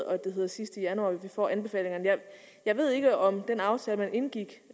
og at det hedder sidst i januar vi får anbefalingerne jeg ved ikke om den aftale man indgik